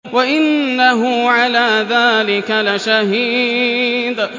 وَإِنَّهُ عَلَىٰ ذَٰلِكَ لَشَهِيدٌ